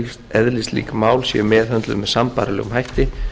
eðlislík mál séu meðhöndluð með sambærilegum hætti